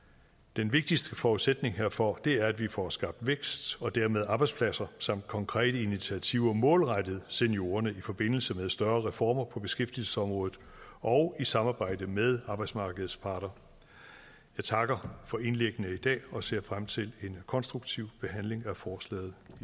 den vigtigste forudsætning herfor er at vi får skabt vækst og dermed arbejdspladser samt konkrete initiativer målrettet seniorerne i forbindelse med større reformer på beskæftigelsesområdet og i samarbejde med arbejdsmarkedets parter jeg takker for indlæggene i dag og ser frem til en konstruktiv behandling af forslaget